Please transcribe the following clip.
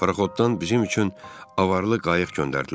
Paraxotdan bizim üçün avarlı qayıq göndərdilər.